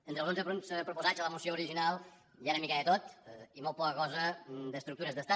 entre els onze punts proposats a la moció original hi ha una mica de tot i molt poca cosa d’estructures d’estat